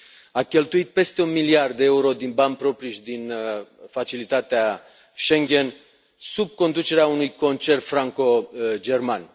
A cheltuit peste un miliard de euro din bani proprii și din facilitatea Schengen, sub conducerea unui concert franco german.